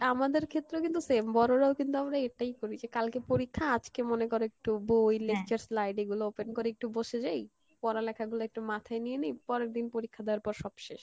এই আমাদের ক্ষেত্রেও কিন্তু same বড় রাও কিন্তু আমরা এটাই করি, যে কালকে পরিক্ষা আজকে মনে করো একটু বই গুলো open করে একটু বসে যাই, পড়া লেখা গুলো একটু মাথায় নিয়ে নি, পরের দিন পরিক্ষা দেওয়ার পর সব শেষ